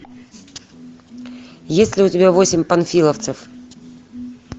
есть ли у тебя восемь панфиловцев